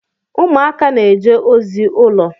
Ụmụaka na-eje ozi ụlọ.